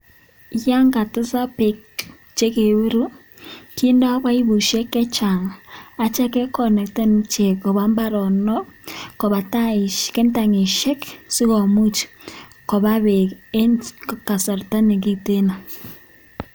Yan katesak beek chekebiru kindo bibushek che chang agityo kekonnecten ichek koba mbaronok, koba tangishek si komuch koba beek en kasarta ne giteno.